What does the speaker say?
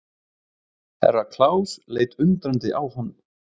Herra Klaus leit undrandi á hann.